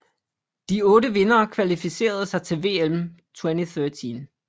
De otte vindere kvalificerede sig til VM 2013